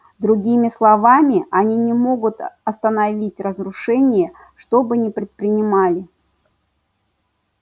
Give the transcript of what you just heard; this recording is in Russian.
другими словами они не могут остановить разрушение что бы ни предпринимали